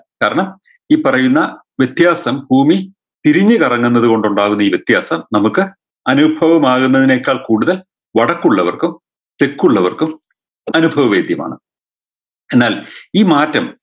കാരണം ഈ പറയുന്ന വ്യത്യാസം ഭൂമി തിരിഞ്ഞ് കറങ്ങുന്നത് കൊണ്ടുണ്ടാകുന്ന ഈ വ്യത്യാസം നമുക്ക് അനുഭവമാകുന്നതിനേക്കാൾ കൂടുതൽ വടക്കുള്ളവർക്കും തെക്കുള്ളവർക്കും അനുഭവവൈദ്യമാണ് എന്നാൽ ഈ മാറ്റം